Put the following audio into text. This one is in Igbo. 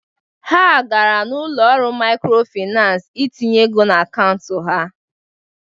Ha gara ụlọ akụ maịkrofịnansị itinye ego n'akaụntụ ha.